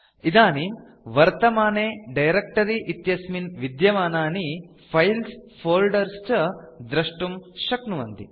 इदानीं वर्तमाने डायरेक्ट्री इत्यस्मिन् विद्यमानानि फाइल्स् फोल्डर्स् च दृष्टुम् शक्नुवन्ति